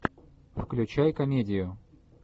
включай комедию